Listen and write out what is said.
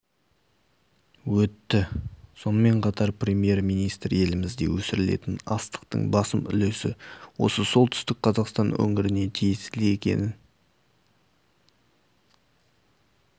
өтті сонымен қатар премьер-министр елімізде өсірілетін астықтың басым үлесі осы солтүстік қазақстан өңіріне тиесілі екенін